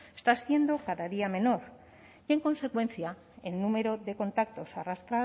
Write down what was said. está siendo cada día menor y en consecuencia el número de contactos